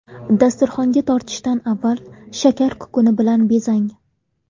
Dasturxonga tortishdan avval shakar kukuni bilan bezang.